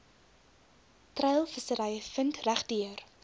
treilvissery vind regdeur